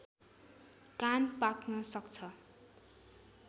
कान पाक्न सक्छ